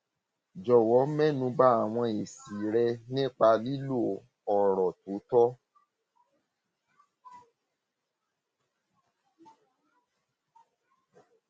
jọwọ mẹnu ba àwọn èsì rẹ nípa lílo ọrọ tó tọ